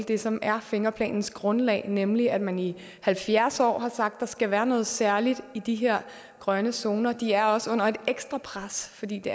det som er fingerplanens grundlag nemlig at man i halvfjerds år har sagt at der skal være noget særligt i de her grønne zoner de er også under et ekstra pres fordi det